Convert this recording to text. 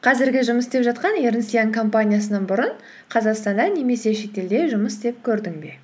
қазіргі жұмыс істеп жатқан эрнест янг компаниясынан бұрын қазақстанда немесе шетелде жұмыс істеп көрдің бе